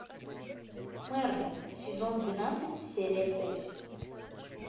мерлин сезон двенадцать серия пять